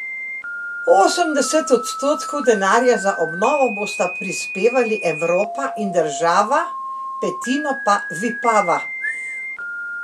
Osemdeset odstotkov denarja za obnovo bosta prispevali Evropa in država, petino pa Vipava.